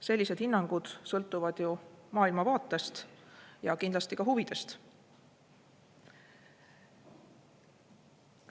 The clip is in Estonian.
Sellised hinnangud sõltuvad ju maailmavaatest ja kindlasti ka huvidest.